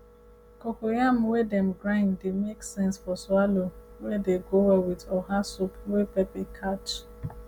cocoyam wey dem grind dey make sense for swallow wey dey go well with oha soup wey pepper catch